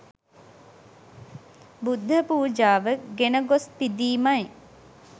බුද්ධ පූජාව ගෙන ගොස් පිදීමයි.